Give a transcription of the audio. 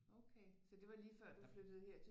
Okay så det var lige før du flyttede her til